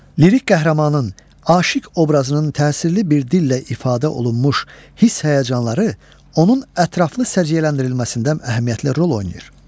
Lirik qəhrəmanın aşiq obrazının təsirli bir dillə ifadə olunmuş hiss-həyəcanları onun ətraflı səciyyələndirilməsində əhəmiyyətli rol oynayır.